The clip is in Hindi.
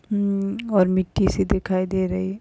हम्म और मिट्टिसी दिखाई दे रही--